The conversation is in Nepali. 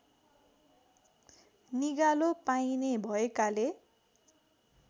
निगालो पाइने भएकाले